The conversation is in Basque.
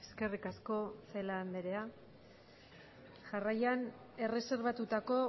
eskerrik asko celaá andrea jarraian erreserbatutako